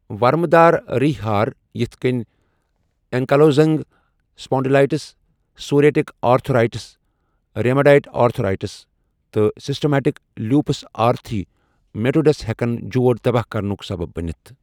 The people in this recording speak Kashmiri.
وَرمہٕ دار ریہہ ہار یِتھ کٔنہِ ankylosing spondylitis, psoriatic arthritis, rheumatoid arthritis, تہٕ سیسٹیمیٹک لیوپس ارتھی میٹوسس ہیكن جوڑ تباہ کرنُک سبب بٔنِتھ۔